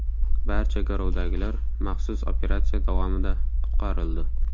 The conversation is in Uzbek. Barcha garovdagilar maxsus operatsiya davomida qutqarildi.